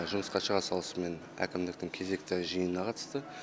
жұмысқа шыға салысымен әкімдіктің кезекті жиынына қатысты